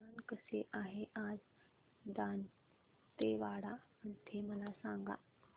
हवामान कसे आहे आज दांतेवाडा मध्ये मला सांगा